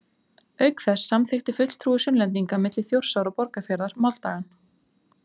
Auk þess samþykkti fulltrúi Sunnlendinga milli Þjórsár og Borgarfjarðar máldagann.